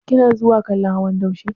Kina zuwa kallon hawan daushe?